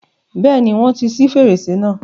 Bẹ́ẹ̀ni, wọ́n ti ṣi fèrèsé náà.